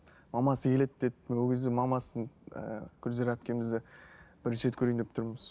мамасы келеді деді ол кезде мамасын ыыы гүлзира әпкемізді бірінші рет көрейін деп тұрмыз